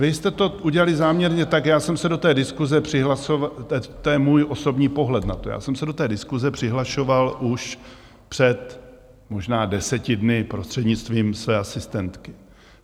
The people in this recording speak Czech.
Vy jste to udělali záměrně tak, já jsem se do té diskuse přihlašoval - to je můj osobní pohled na to - já jsem se do té diskuse přihlašoval už před možná deseti dny prostřednictvím své asistentky.